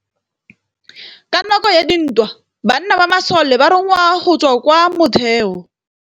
Ka nakô ya dintwa banna ba masole ba rongwa go tswa kwa mothêô.